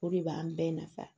O de b'an bɛɛ nafa